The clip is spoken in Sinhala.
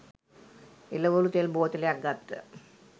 එළවලු තෙල් බෝතලයක් ගත්ත